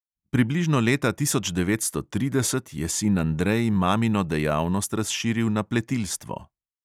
Približno leta tisoč devetsto trideset je sin andrej mamino dejavnost razširil na pletilstvo.